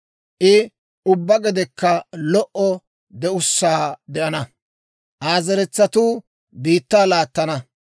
I ubbaa gedekka lo"o de'ussaa de'ana; Aa zeretsatuu biittaa laattana.